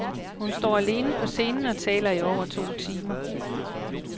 Hun står alene på scenen og taler i over to timer.